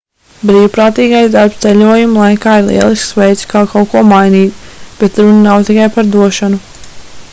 brīvprātīgais darbs ceļojuma laikā ir lielisks veids kā kaut ko mainīt bet runa nav tikai par došanu